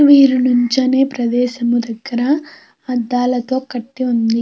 వీరు నిల్చున్న ప్రదేశం దగ్గర అడ్డాలతో కట్టి ఉంది.